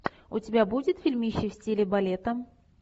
у тебя будет фильмище в стиле балета